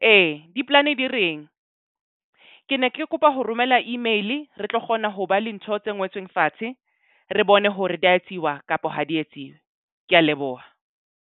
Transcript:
Ee di polane di reng? Ke ne ke kopa ho romela email. Re tlo kgona ho ba le ntho tse ngotsweng fatshe re bone hore di ya tsiwa kapa ho di etsiwe. Ke a leboha.